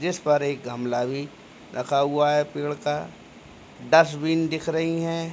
जिसपर एक गमला भी रखा हुआ है पेड़ का डस्टबीन दिख रही हैं।